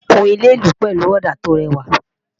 kún ilé ìlú pẹlú òdà to réwà